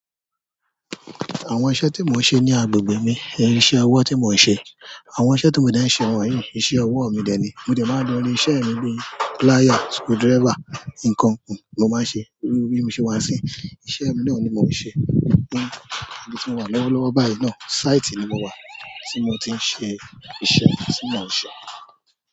Àwọn iṣẹ́ tí mò ń ṣe ní agbègbè mi, ìṣe ọwọ́ tí mò ń ṣe. Àwọn iṣẹ́ tí mo dẹ́ ń ṣe, wọ́n yi ìṣe ọwọ́ mi dẹ́ ni. Mo dẹ̀ máa ń lo ilé iṣẹ́ mi bíi plier, screwdriver, ǹkan kan mo máa ń ṣe, iru bi mo ṣe wá sin, iṣẹ́ mi náà ni mò ń ṣe. Ní ibi tí mò wà lọ́wọ́lọ́wọ́ báyìí náà, sáìtì ni mo wà tí mo ti ń ṣe iṣẹ́ tí mò ń ṣe.